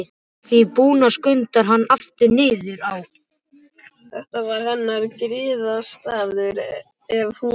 Að því búnu skundar hann aftur niður á